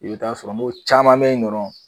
I be t'a sɔrɔ n go caman be yen dɔrɔn